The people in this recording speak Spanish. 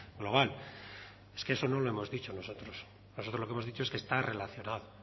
global es que eso no lo hemos dicho nosotros nosotros lo que hemos dicho es que está relacionado